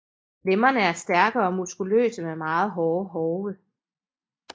Lemmerne er stærke og muskuløse med meget hårde hove